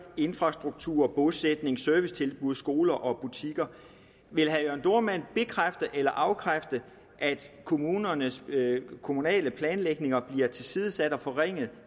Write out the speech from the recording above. infrastruktur bosætning servicetilbud skoler og butikker vil herre jørn dohrmann bekræfte eller afkræfte at kommunernes kommunale planlægninger bliver tilsidesat og forringet